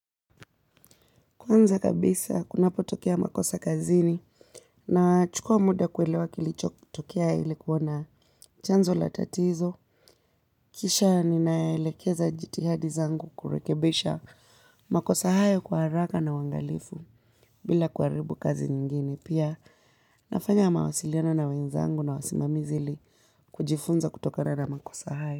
Kwanza kabisa, kunapotokea makosa kazini nachukua muda kuelewa kilichotokea ili kuona chanzo la tatizo. Kisha ninaelekeza jitihada zangu kurekebisha makosa hayo kwa haraka na uangalifu bila kuharibu kazi nyingine. Pia nafanya mawasiliano na wenzangu na wasimamizi ili kujifunza kutokana na makosa hayo.